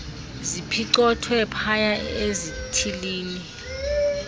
ziphicothwe phaya ezithilini